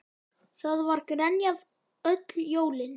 Það var grenjað öll jólin.